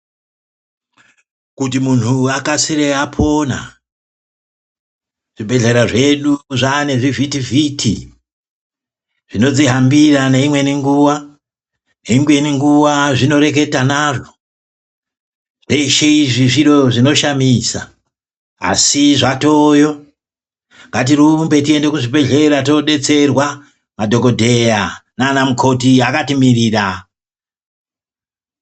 Kuti muntu akasire apona ,zvibhehlera zvedu zvaane zvivhitivhiti zvinodzihambira neimweni nguwa, neimweni nguwa zvinoreketa nazvo, zveshe izvi zviro zvinoshamisa asi zvatooyo, ngatirumbe tiende kuzvibhehleya todetserwa madhokodheya nanamukoti akatimirira.